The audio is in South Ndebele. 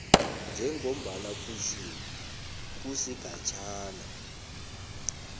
njengombana kutjhiwo kusigatjana